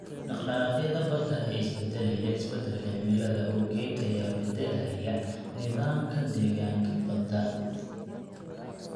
Dhaqdhaqaaqyada badda ee isbeddelaya isbeddelka cimilada awgeed ayaa beddelaya nidaamka deegaanka badda.